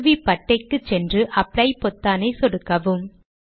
கருவிப்பட்டைக்கு சென்று அப்ளை பொத்தானை சொடுக்கவும்